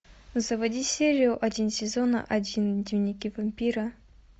заводи серию один сезона один дневники вампира